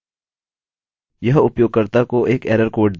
यह उपयोगकर्ता को एक एरर कोड देगा